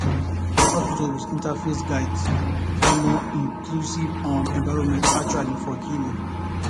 na hospitals with interfaith guidelines provide more inclusive um environments actually for healing